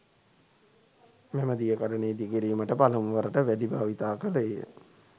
මෙම දියකඩනය ඉදිකිරීමට පළමුවරට වැලි භාවිතා කළේය.